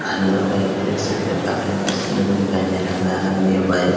hello guys देख सकते हैं काफी मस्त लुक दिखाई दे रहा आर ये बाइक --